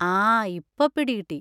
ആ! ഇപ്പൊ പിടി കിട്ടി.